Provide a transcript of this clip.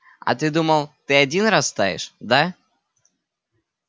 а ты думал ты один растаешь да